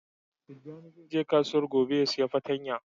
Tijani zai je kasuwan gobe ya siya patanya.